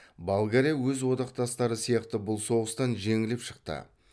болгария өз одақтастары сияқты бұл соғыстан жеңіліп шықты